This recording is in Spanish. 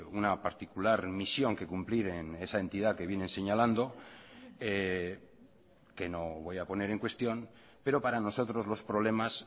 una particular misión que cumplir en esa entidad que viene señalando que no voy a poner en cuestión pero para nosotros los problemas